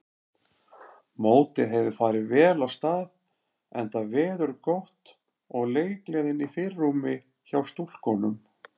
Mótið hefur farið vel af stað enda veður gott og leikgleðin í fyrirrúmi hjá stúlkunum.